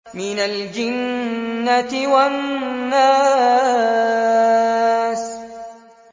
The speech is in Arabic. مِنَ الْجِنَّةِ وَالنَّاسِ